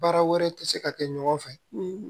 Baara wɛrɛ tɛ se ka kɛ ɲɔgɔn fɛ